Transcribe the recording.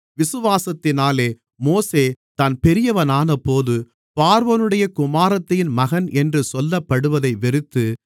விசுவாசத்தினாலே மோசே தான் பெரியவனானபோது பார்வோனுடைய குமாரத்தியின் மகன் என்று சொல்லப்படுவதை வெறுத்து